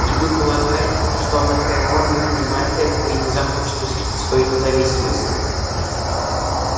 и вы полагаете что анакреон не понимает этого и не захочет усилить свою независимость